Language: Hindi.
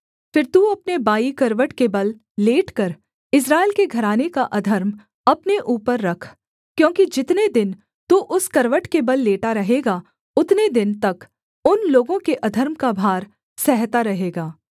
फिर तू अपने बायीं करवट के बल लेटकर इस्राएल के घराने का अधर्म अपने ऊपर रख क्योंकि जितने दिन तू उस करवट के बल लेटा रहेगा उतने दिन तक उन लोगों के अधर्म का भार सहता रहेगा